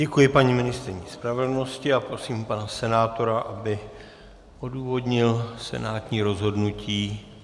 Děkuji paní ministryni spravedlnosti a prosím pana senátora, aby odůvodnil senátní rozhodnutí.